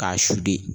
K'a su de